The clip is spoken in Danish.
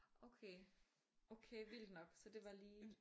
Okay okay vildt nok så det var lige